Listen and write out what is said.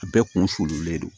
A bɛɛ kun fololen don